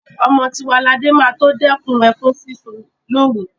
Ọmọ Tiwaladé máa tó dẹ́kun ẹkún sísun lóru.